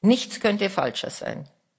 Nichts könnte falscher sein.